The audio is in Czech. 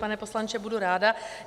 Pane poslanče, budu ráda.